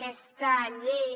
aquesta llei